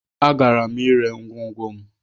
Agara m ere ngwongwo m.